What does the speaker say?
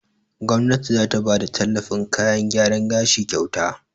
Gomnati za ta bada tallafin kayan gyaran gashi kyauta.